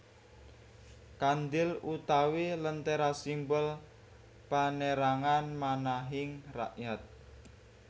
Kandhil utawi lentera simbol panerangan manahing rakyat